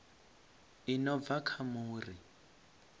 i no bva kha muri